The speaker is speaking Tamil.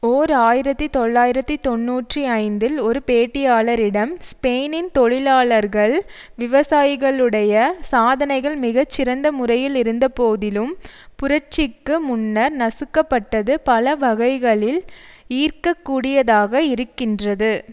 ஓர் ஆயிரத்தி தொள்ளாயிரத்தி தொன்னூற்றி ஐந்தில் ஒரு பேட்டியாளரிடம் ஸ்பெயினின் தொழிலாளர்கள் விவசாயிகளுடைய சாதனைகள் மிகச்சிறந்த முறையில் இருந்தபோதிலும் புரட்சிக்கு முன்னர் நசுக்கப்பட்டது பல வகைகளில் ஈர்க்கக் கூடியதாக இருக்கின்றது